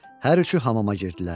Hər üçü hamama girdilər.